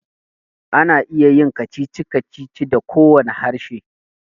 Ana iya yin kacici-kacici da kowane harshe